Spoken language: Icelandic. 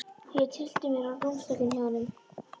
Ég tyllti mér á rúmstokkinn hjá honum.